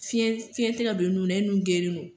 Fiɲɛ fiɲɛ tɛ ka don e nu na e nu gerennen don.